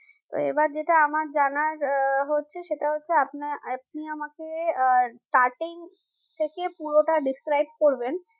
তো এবার যেটা আমার জানার আহ হচ্ছে সেটা হচ্ছে আপনা আপনি আমাকে আহ starting থেকে পুরোটা describe করবেন